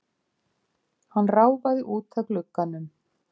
Hann ráfaði út að glugganum.